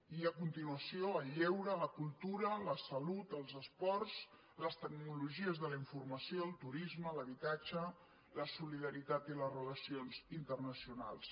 i a continuació el lleure la cultura la salut els esports les tecnologies de la informació el turisme l’habitatge la solidaritat i les relacions internacionals